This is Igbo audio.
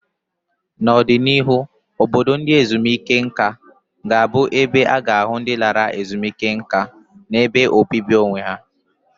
N'ọdịnihu, obodo ndị ezumike nká ga-abụ ebe a ga-ahụ ndị lara ezumike nká na ebe obibi onwe ha.